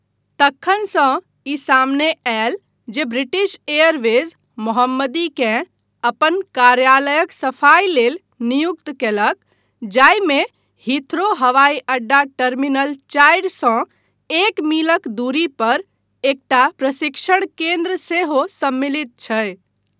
तखनसँ ई सामने आयल जे ब्रिटिश एयरवेज मोहम्मदीकेँ अपन कार्यालयक सफाई लेल नियुक्त कयलक जाहिमे हीथ्रो हवाई अड्डा टर्मिनल चारि सँ एक मीलक दूरी पर एकटा प्रशिक्षण केन्द्र सेहो सम्मिलित छै।